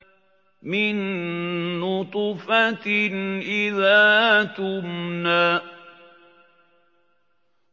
مِن نُّطْفَةٍ إِذَا تُمْنَىٰ